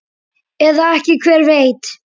Eða ekki, hver veit?